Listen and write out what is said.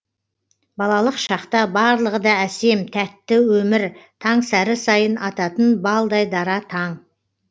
балалық шақта барлығы да әсем тәтті өмір таңсәрі сайын ататын балдай дара таң